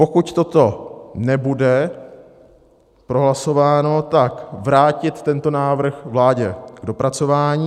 Pokud toto nebude prohlasováno, tak vrátit tento návrh vládě k dopracování.